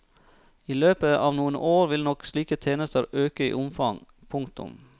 I løpet av noen år vil nok slike tjenester øke i omfang. punktum